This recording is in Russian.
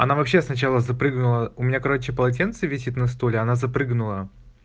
она вообще сначала запрыгнула у меня короче полотенце висит на стуле она запрыгнула